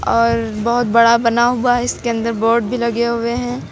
और बहोत बड़ा बना हुआ है इसके अंदर बोर्ड भी लगे हुए हैं।